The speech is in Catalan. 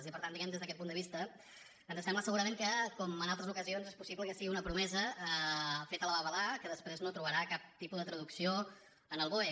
i per tant diguem ne des d’aquest punt de vista ens sembla segurament que com en altres ocasions és possible que sigui una promesa feta a la babalà que després no trobarà cap tipus de traducció en el boe